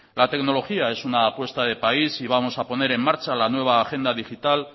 la tecnología esuna apuesta de país y vamos a poner en marcha la nueva agenda digital